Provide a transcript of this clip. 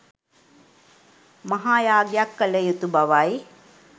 මහා යාගයක් කළයුතු බවයි.